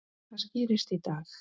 Það skýrist í dag.